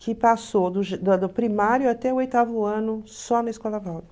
Que passou do primário até o oitavo ano só na Escola